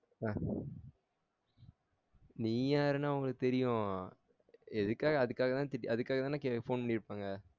ஆஹ் நீ யாருன்னு அவங்களுக்கு தெரியும் எதுக்காக அதுக்காக தான் திட்டி அதுக்க்காக தான phone பண்ணிர்ப்பாங்க